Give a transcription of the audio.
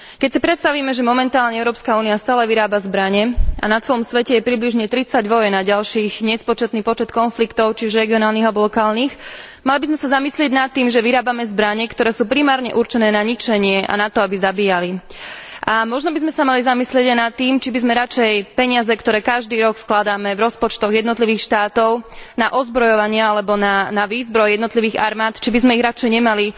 Keď si predstavíme, že momentálne Európska únia stále vyrába zbrane a na celom svete je približne tridsať vojen a ďalších nespočetný počet konfliktov, či už regionálnych, alebo lokálnych, mali by sme sa zamyslieť nad tým, že vyrábame zbrane, ktoré sú primárne určené na ničenie a na to, aby zabíjali. A možno by sme sa mali zamyslieť aj nad tým, či by sme radšej peniaze, ktoré každý rok vkladáme v rozpočtoch jednotlivých štátov na ozbrojovanie alebo na výzbroj jednotlivých armád, či by sme ich radšej nemali